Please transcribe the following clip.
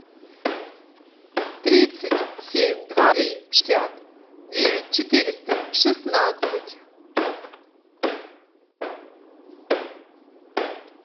тридцать семь два три шестьдесят девять четыреста шестнадцать